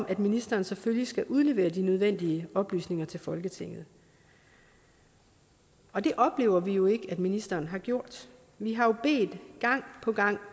at ministeren selvfølgelig skal udlevere de nødvendige oplysninger til folketinget og det oplever vi jo ikke at ministeren har gjort vi har gang på gang